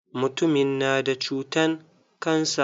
Mutumin na da cutan cancer.